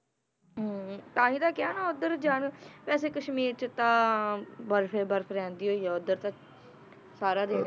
ਹਮ ਤਾਂਹੀ ਤਾਂ ਕਿਹਾ ਨਾ ਉੱਧਰ ਜਾਣ ਦਾ ਵੈਸੇ ਕਸ਼ਮੀਰ 'ਚ ਤਾਂ ਬਰਫ਼ ਹੀ ਬਰਫ਼ ਰਹਿੰਦੀ ਹੋਈ ਆ ਉੱਧਰ ਤਾਂ ਸਾਰਾ ਦਿਨ